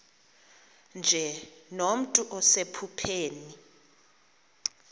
nje nomntu osephupheni